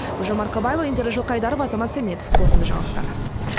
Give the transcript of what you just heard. гүлжан марқабаева индира жылқайдарова азамат сәметов қорытынды жаңалықтар